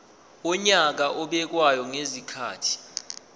wonyaka obekwayo ngezikhathi